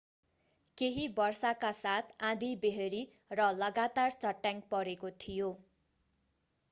केहि वर्षाका साथ आँधिबेहरी र लगातार चट्याङ परेको थियो